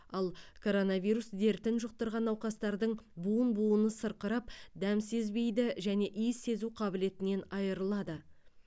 ал коронавирус дертін жұқтырған науқастардың буын буыны сырқырап дәм сезбейді және иіс сезу қабілетінен айырылады